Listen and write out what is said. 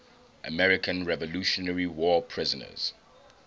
american revolutionary war prisoners